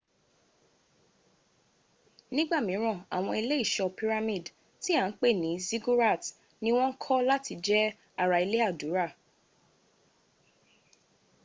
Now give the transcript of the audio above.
nígbà míràn àwọn ilé ìṣọ́ pyramid tí à ń pè ní ziggurats ní wọ́n kọ́ láti jẹ́ ara ilé àdúrà